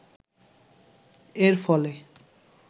এর ফলে